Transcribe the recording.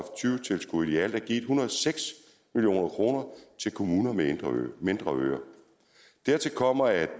tyve tilskuddet i alt er givet en hundrede og seks million kroner til kommuner med mindre øer dertil kommer at